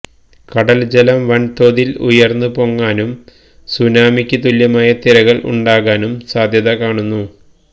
കടൽ ജലം വൻ തോതിൽ ഉയർന്നു പൊങ്ങാനും സുനാമിക്ക് തുല്യമായ തിരകൾ ഉണ്ടാകാനും സാധ്യത കാണുന്നു